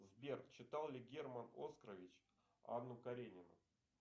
сбер читал ли герман оскарович анну каренину